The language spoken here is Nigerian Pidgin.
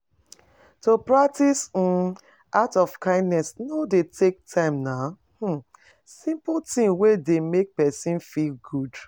To practice act of kindness no de take time na simple thing wey de make persin feel good